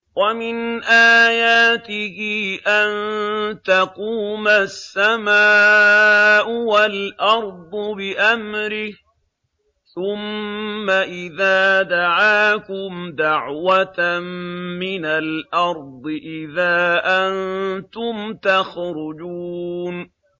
وَمِنْ آيَاتِهِ أَن تَقُومَ السَّمَاءُ وَالْأَرْضُ بِأَمْرِهِ ۚ ثُمَّ إِذَا دَعَاكُمْ دَعْوَةً مِّنَ الْأَرْضِ إِذَا أَنتُمْ تَخْرُجُونَ